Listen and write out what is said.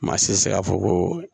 Maa si tɛ se k'a fɔ ko